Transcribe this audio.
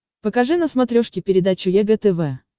покажи на смотрешке передачу егэ тв